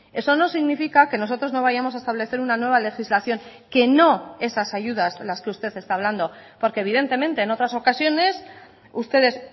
eso no significa que nosotros no vayamos a establecer una nueva legislación que no esas ayudas las que usted está hablando porque evidentemente en otras ocasiones ustedes